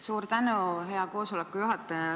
Suur tänu, hea juhataja!